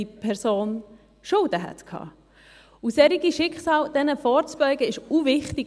Solchen Schicksalen vorzubeugen, ist unglaublich wichtig.